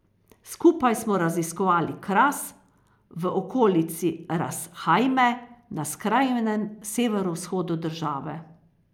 Skupaj smo raziskovali kras v okolici Ras Hajme na skrajnem severovzhodu države.